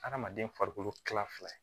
Adamaden farikolo kila fila ye